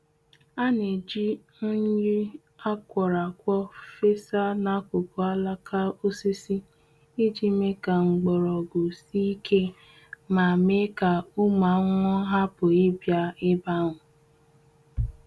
Ana eji unyi akwọrọakwọ fesa n'akụkụ alaka osisi iji mee ka mgbọrọgwụ sie ike ma mee ka ụmụ ahụhụ hapụ ibia ebe ahu.